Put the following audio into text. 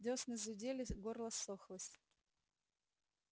дёсны зудели горло ссохлось